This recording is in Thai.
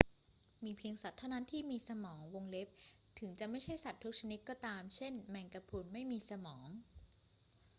มีเพียงสัตว์เท่านั้นที่มีสมอง ถึงจะไม่ใช่สัตว์ทุกชนิดก็ตาม เช่น แมงกะพรุนไม่มีสมอง